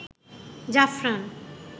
জাফরান